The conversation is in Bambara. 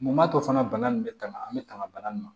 Mun m'a to fana bana nin bɛ tanga an bɛ tanga bana nin ma